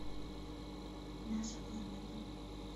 наша планета